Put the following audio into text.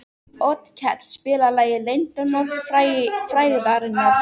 Otkell, spilaðu lagið „Leyndarmál frægðarinnar“.